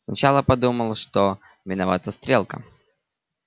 сначала подумал что виновата стрелка